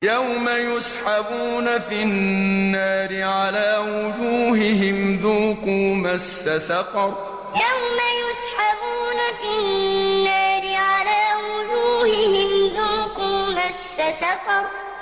يَوْمَ يُسْحَبُونَ فِي النَّارِ عَلَىٰ وُجُوهِهِمْ ذُوقُوا مَسَّ سَقَرَ يَوْمَ يُسْحَبُونَ فِي النَّارِ عَلَىٰ وُجُوهِهِمْ ذُوقُوا مَسَّ سَقَرَ